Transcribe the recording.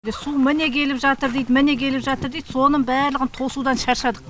су міне келіп жатыр дейді міне келіп жатыр дейді соның барлығын тосудан шаршадық